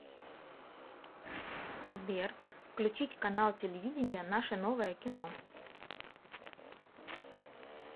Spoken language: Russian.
сбер включить канал телевидения наше новое кино